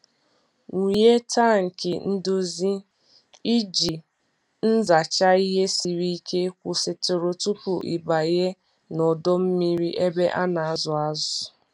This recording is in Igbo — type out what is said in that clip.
Wụnye tankị ndozi iji nzacha ihe siri ike kwụsịtụrụ tupu ị banye n'ọdọ mmiri ebe a na-azụ azụ.